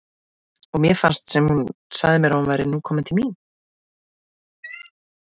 Og mér fannst sem hún segði mér að nú væri hún komin til mín.